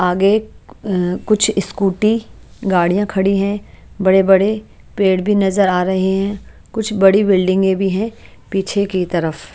आगे अ कुछ स्कूटी गाडियाँ खड़ी हैं बड़े-बड़े पेड़ भी नज़र आ रहे हैं कुछ बड़ी बिल्डिंगे भी हैं पीछे की तरफ --